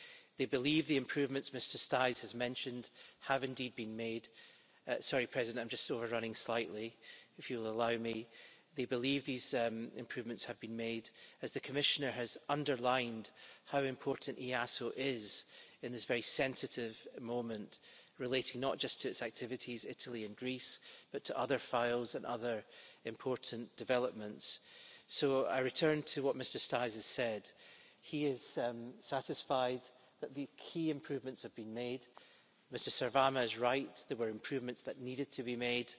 They believe the improvements Mr Staes has mentioned have indeed been made sorry, Mr President, I am just over running slightly, if you'll allow me they believe these improvements have been made as the Commissioner has underlined how important EASO is at this very sensitive moment relating not just to its activities Italy and Greece but to other files and other important developments. So I return to what Mr Staes has said. He is satisfied that the key improvements have been made. Mr Sarvamaa is right, there were improvements that needed to be made.